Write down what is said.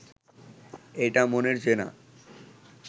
এইটা মনের জেনা